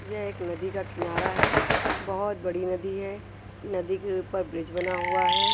यह एक नदी का किनारा है बहुत बड़ी नदी है नदी के ऊपर ब्रिज बना हुआ है।